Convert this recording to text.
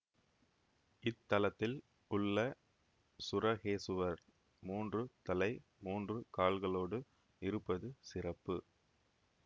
இத்தலத்தில் உள்ள சுரகேசுவர் மூன்று தலை மூன்று கால்களோடு இருப்பது சிறப்பு